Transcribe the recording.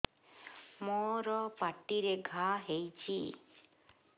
ମୋର ପାଟିରେ ଘା ହେଇଚି